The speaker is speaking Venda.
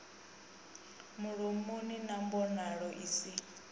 mulomoni na mbonalo i si